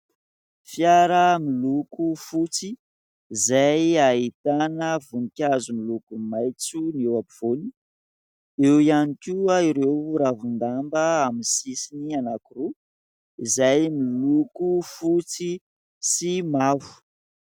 Fiara miloko fotsy izay ahitana voninkazo miloko maitso eo ampovoany, eo ihany koa ireo ravin-damba amin'ny sisiny anankiroa izay miloko fotsy sy mavo.